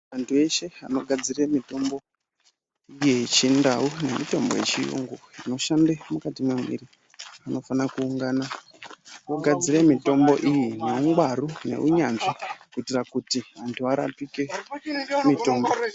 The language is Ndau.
Antu eshe anogadzire mitombo ,yechindau nemitombo yechiyungu inoshande mukati mwemwiri, anofane kuungana ,ogadzire mitombo iyi, neungwaru , neunyanzvi ,kuitira kuti muntu arapike mitungu.